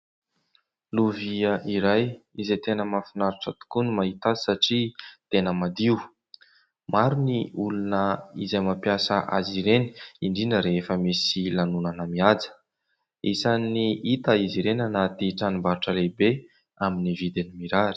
Lovia iray izay tena mahafinaritra tokoa ny mahita azy satria tena madio. Maro ny olona izay mampiasa azy ireny indrindra rehefa misy lanonana mihaja. Isan'ny hita izy ireny anaty tranombarotra lehibe amin'ny vidiny mirary.